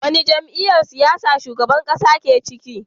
A wani jam'iyyar siyasa shugaban ƙasa ya ke?